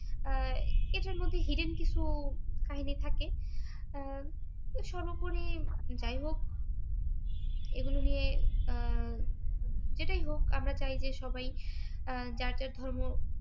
আহ এদের মধ্যে hidden কিছু কাহিনি থাকে আহ সর্বোপরী যাই হোক ও এগুলো নিয়ে আহ যেটাই হক আমরা চাই যে সবাই আহ যার যার ধর্ম